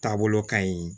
Taabolo ka ɲi